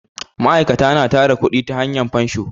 ma'aikata na tara kudi ta hanya fansho